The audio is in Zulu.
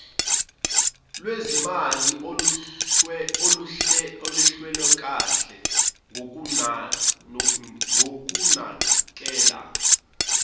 lwezimali oluhlelwekanhe ngokunakekela